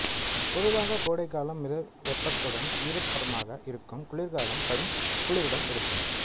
பொதுவாக கோடைகாலம் மித வெப்பத்துடன் ஈரப்பதமாக இருக்கும் குளிர்காலம் கடும் குளிருடன் இருக்கும்